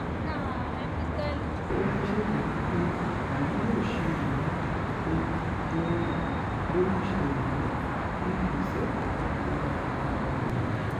ó wáá ṣèlérí pé àwọn yóò ṣe ìwádìí tó lóòrín lórí ìṣẹ̀lẹ̀ náà kí ìgbésẹ̀ kankan tóo wáyé lórí rẹ